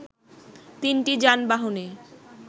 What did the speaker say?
তিনটি যানবাহনে